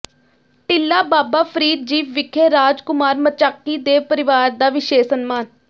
ਟਿੱਲਾ ਬਾਬਾ ਫਰੀਦ ਜੀ ਵਿਖੇ ਰਾਜ ਕੁਮਾਰ ਮਚਾਕੀ ਦੇ ਪਰਿਵਾਰ ਦਾ ਵਿਸ਼ੇਸ਼ ਸਨਮਾਨ